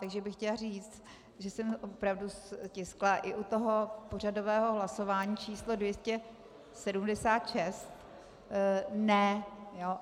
Takže bych chtěla říct, že jsem opravdu stiskla i u toho pořadového hlasování číslo 276 ne.